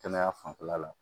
Kɛnɛya fanfɛla la